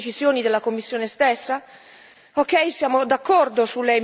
Abbiamo lavorato per giorni per riconfermare le stesse decisioni della Commissione stessa?